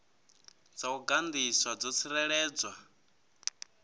dza u gandiswa dzo tsireledzwa